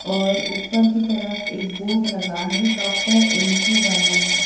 और ऊपर की तरफ एक बोर्ड लगा है डॉक्टर एम_के वर्मन का।